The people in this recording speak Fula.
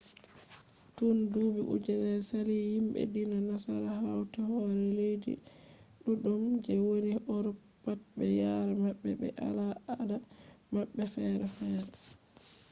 tun duuɓi ujunnere sali himɓe diina nasara hauti hore leddi ɗuɗɗum je woni urop pat be yare maɓɓe be al ada maɓɓe fere fere